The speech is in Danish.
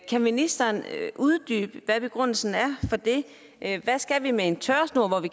kan ministeren uddybe hvad begrundelsen for det er hvad skal vi med en tørresnor